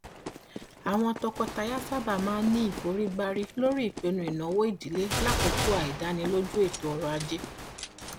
àwọn tọkọtaya sábà máa ní ìforígbárí lórí ìpinnu ìnáwó ìdílé lákòókò àìdánilójú ètò ọrọ ajé